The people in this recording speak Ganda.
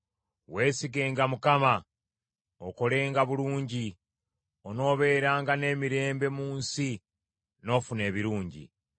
Weesigenga Mukama okolenga bulungi, onoobeeranga n’emirembe mu nsi n’ofuna ebirungi.